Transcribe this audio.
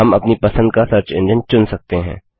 हम अपनी पसंद का सर्च एंजिन चुन सकते हैं